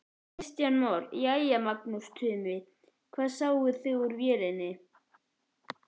Kristján Már: Jæja Magnús Tumi, hvað sáuð þið úr vélinni?